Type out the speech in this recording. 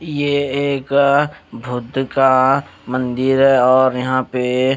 ये एक भूत का मंदिर है और यहां पे--